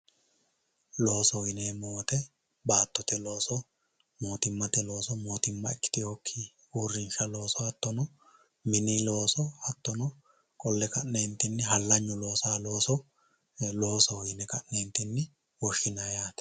loosoho yineemo wooyiite baattote looso motummate looso motumma ikitiyooki uurinshsha looso hattono mini looso hattono qolle ka'neetinni hallanyu loosayoo looso loosoho yine ka'neetini wooshinayii yaate